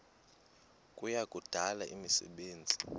kuya kudala imisebenzi